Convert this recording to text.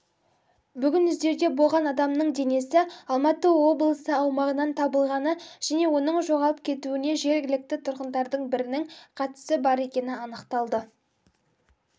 бүгін іздеуде болған адамның денесі алматы облысы аумағынан табылғаны және оның жоғалып кетуіне жергілікті тұрғындардың бірінің қатысы бар екені анықталды